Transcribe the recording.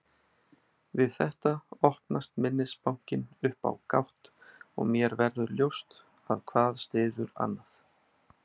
Við þetta opnast minnisbankinn upp á gátt og mér verður ljóst að hvað styður annað.